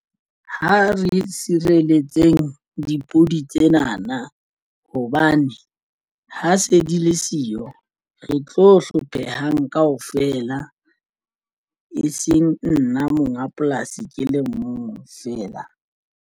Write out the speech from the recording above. Ha re sireletsehang dipudi tsena na hobane ha se di le siyo re tlo hlophehang kaofela. E seng nna monga polasi ke le mong fela.